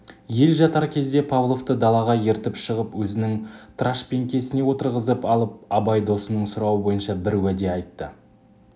ел жатар кезде павловты далаға ертіп шығып өзінің трашпеңкесіне отырғызып алып абай досының сұрауы бойынша бір уәде айтты